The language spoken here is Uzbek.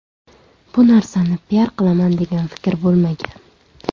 Bu narsani piar qilaman degan fikr bo‘lmagan.